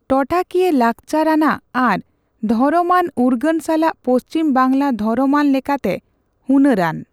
ᱴᱚᱴᱷᱟᱠᱤᱭᱟᱹ, ᱞᱟᱠᱪᱟᱨ ᱟᱱᱟᱜ ᱟᱨ ᱫᱷᱚᱨᱚᱢ ᱟᱱ ᱩᱨᱜᱟᱹᱱ ᱥᱟᱞᱟᱜ ᱯᱚᱪᱷᱤᱢ ᱵᱟᱝᱞᱟ ᱫᱷᱚᱨᱚᱢ ᱟᱱ ᱞᱮᱠᱟᱛᱮ ᱦᱩᱱᱟᱹᱨᱟᱱ ᱾